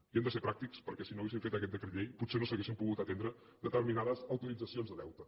i hem de ser pràctics perquè si no haguéssim fet aquest decret llei potser no s’haurien pogut atendre determinades autoritzacions de deute